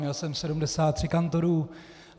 Měl jsem 73 kantorů.